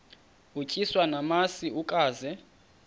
utyiswa namasi ukaze